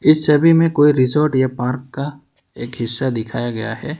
इस छवि में कोई रिजॉर्ट या पार्क का एक हिस्सा दिखाया गया है।